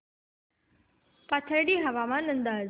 पाथर्डी हवामान अंदाज